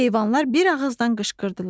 Heyvanlar bir ağızdan qışqırdılar.